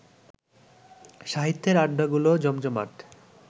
সাহিত্যের আড্ডাগুলোও জমজমাট